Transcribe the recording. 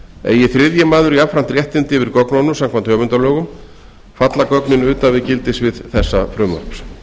eigi þriðji maður jafnframt réttindi yfir gögnunum samkvæmt höfundalögum falla gögnin utan við gildissvið þessa frumvarps